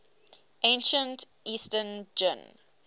ancient eastern jin